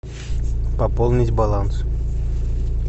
пополнить баланс